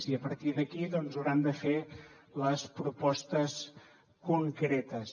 i a partir d’aquí doncs hauran de fer les propostes concretes